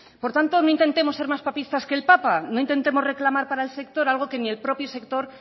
por tanto no intentemos ser más papistas que el papa no intentemos reclamar para el sector algo que ni el propio sector